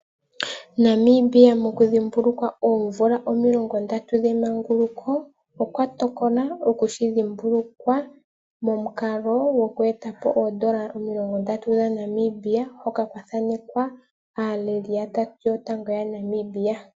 Namibia moku dhimbulukwa omvula omilongo ndatu dhemanguluko okwa tokola okushi dhimbulukwa momukalo gwoku etapo oodollar omilongo ndatu dhaNamibia hoka kwa thanekwa aaleli yatatu yotango yaNamibia.